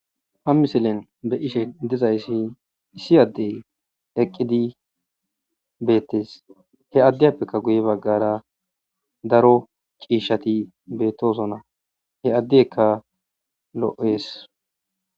ha misilen be ishe dizayssi issi addey eqqidi beettes he addeyappekka guye baggara daro qiishshati beettosona he addeekka lo7ees